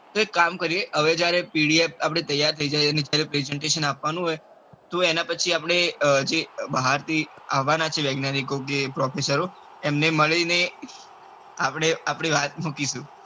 તો એક કામ કરીએ હવે જયારે pdf તૈયાર થઇ જાય presentation આપવાનું હોય તો એના પછી આપડે જે બહાર થી આવના છે વૈજ્ઞાનીકો કે professor તો એમને મલિને આપડે આપડી વાત મુકીશુ.